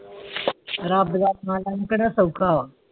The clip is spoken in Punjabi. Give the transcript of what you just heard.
ਰਬ ਰੱਖਣਾ ਵਾਲਾ ਸੋਖਾਵ